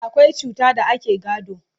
akwai cuta da ake gado